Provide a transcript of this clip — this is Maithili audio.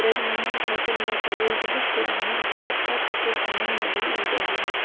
ब्रज मोहन ठाकुर लॉ कॉलेज बहुत पुराना छै पप्पा सब के समय में भी इ रहे।